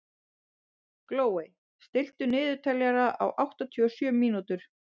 Glóey, stilltu niðurteljara á áttatíu og sjö mínútur.